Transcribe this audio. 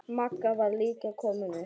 Magga var líka komin upp.